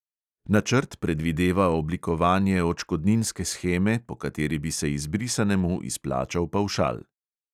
Načrt predvideva oblikovanje odškodninske sheme, po kateri bi se izbrisanemu izplačal pavšal.